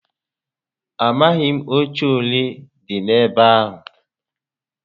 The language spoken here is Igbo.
Amaghi m oche ole di n'ebe ahu